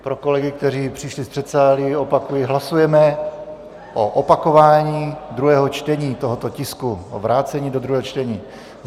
Pro kolegy, kteří přišli z předsálí opakuji: hlasujeme o opakování druhého čtení tohoto tisku, o vrácení do druhého čtení.